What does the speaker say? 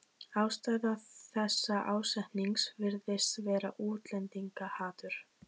Ástæða þessa ásetnings virðist vera útlendingahatur.